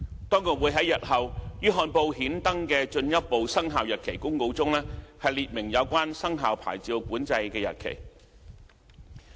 當局會在日後於憲報刊登的進一步生效日期公告中列明有關牌照管制的生效日期。